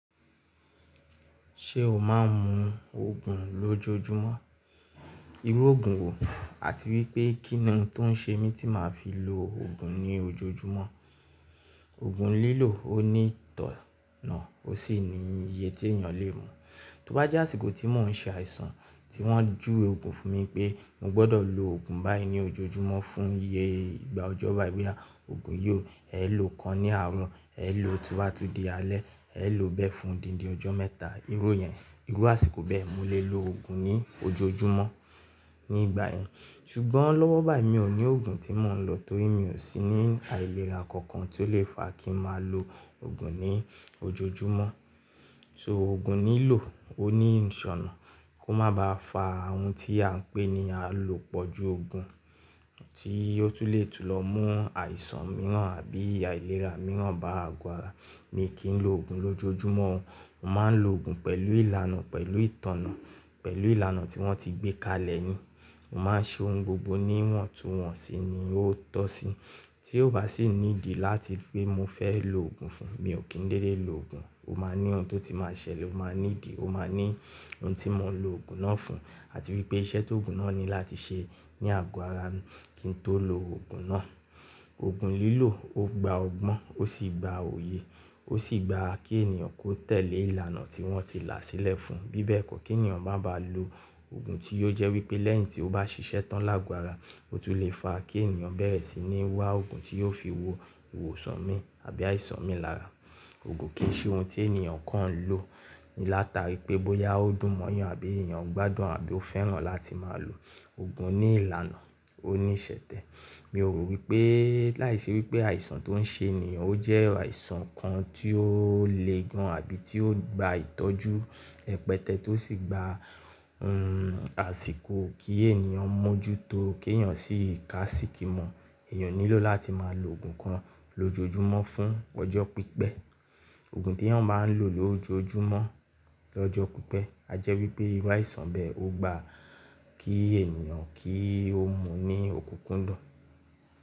Ṣé o máa ń mu Ògùn lójoojúmọ́? Irú Ògùn wo àti wípé kínnìún tó ń ṣe mí tí màá fi lo Ògùn ní ojoojúmọ́. Ògùn lílò ó ní ìtọ̀nà ó sì ní iye tí ènìyàn lè mu. Tó bá jẹ́ àsìkò tí mò ń ṣe àìsàn tí wọ́n júwe Ògùn fún mi pé mo gbọ́dọ̀ lo Ògùn báyìí ní ojoojúmọ́ fún iye ìgbà ọjọ́ báayi boya, Ògùn yí ó, ẹ ló kan ní àárọ̀, ẹ ló tiwá tu di alẹ́, ẹ ló bẹ́ẹ̀ fún díndín ọjọ́ mẹ́ta. Irú yẹn, irú àsìkò bẹ́ẹ̀ mo lè lo Ògùn ní ojoojúmọ́ nígbà yẹn. Ṣùgbọ́n lọ́wọ́ báyìí mi ò ní Ògùn tí mò ń lọ torí mi ò sí ní àìlera kankan tó lè fa kí màá lo Ògùn ní ojoojúmọ́. So Ògùn lílò ó ní ìṣọnà kó má ba à fa ohun tí à ń pè ní àìlòpọ̀ ju Ògùn tí ó tún lè tún lọ mú àìsàn mìíràn àbí àìlera mìíràn bá àgù ara mi kí n lo Ògùn lójoojúmọ́. Mo máa ń lo Ògùn pẹ̀lú ìlànà, pẹ̀lú ìtọ̀nà, pẹ̀lú ìlànà tí wọ́n ti gbé kalẹ̀ ni Mo máa ń ṣe ohun gbogbo ní iwọ̀ntun wọ́nsì ni ó tọ́ sí. Tí ó bá sì ní ìdí láti pé mo fẹ́ lo Ògùn fún un, mi ò kín dédé lo Ògùn. Ó máa ní ohun tó ti máa ṣẹlẹ̀, ó máa ní ìdí, ó máa ní ohun tí mò ń lo Ògùn náà fún àti wípé iṣẹ́ tó Ògùn náà ní láti ṣe ní àgù ara mi kí n tó lo Ògùn náà. Ògùn lílò ó gba ọgbọ́n ó sì gba òye ó sì gba kí ènìyàn kó tẹ̀lé ìlànà tí wọ́n ti là sílẹ̀ fún un. Bí bẹ́ẹ̀ kó kí ènìyàn má ba à lo Ògùn tí yóò jẹ́ wípé lẹ́yìn tí ó bá ṣiṣẹ́ tán lágù ara, ó tún lè fa kí ènìyàn bẹ́rẹ̀ sì ni wá Ògùn tí yóò fi wo ìwòsàn mi àbí àìsàn mi lára. Ògùn kì í ṣe ohun tí ènìyàn kọ́ ń lo látara pé bóyá ó dùn mọ́yàn àbí ènìyàn gbádùn àbí ó fẹ́ràn láti máa lo. Ògùn ní ìlànà ó ní ìṣẹ̀tẹ̀. Mi ò rò wípé láìṣe wípé àìsàn tó ń ṣe ènìyàn ó jẹ́ àìsàn kan tí ó le gan àbí tí ó gba ìtọ́jú rẹpẹtẹ tó sì gba, hmm àsìkò kí ènìyàn mójú tó kí ènìyàn sì ka síkì mọ́. Ènìyàn nílò láti máa lo Ògùn kan lójoojúmọ́ fún ọjọ́ pí́pẹ̀. Ògùn tí ènìyàn máa ń lo lójoojúmọ́ lọ́jọ́ pí́pẹ̀ a jẹ́ wípé irú àìsàn bẹ́ẹ̀ ó gba kí ènìyàn kí ó mu ní òkúnkúndùn.